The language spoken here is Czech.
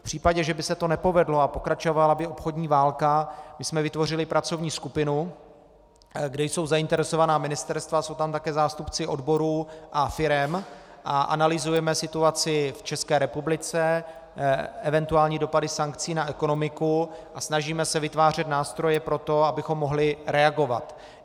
V případě, že by se to nepovedlo, a pokračovala by obchodní válka, my jsme vytvořili pracovní skupinu, kde jsou zainteresovaná ministerstva, jsou tam také zástupci odborů a firem, a analyzujeme situaci v České republice, eventuální dopady sankcí na ekonomiku, a snažíme se vytvářet nástroje pro to, abychom mohli reagovat.